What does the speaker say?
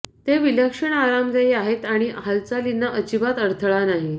ते विलक्षण आरामदायी आहेत आणि हालचालींना अजिबात अडथळा नाही